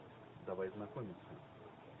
давай знакомиться